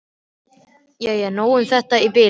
Jæja, nóg um þetta í bili.